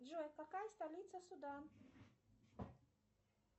джой какая столица судан